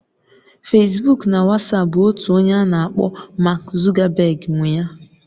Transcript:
Fesbuk na Wasapu bụ otu onye a na-akpọ Mark Zuckerberg nwe ya